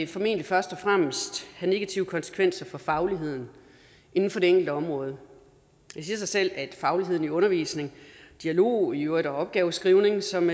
formentlig først og fremmest have negative konsekvenser for fagligheden inden for det enkelte område det siger sig selv at fagligheden i undervisningen dialogen i øvrigt og opgaveskrivningen som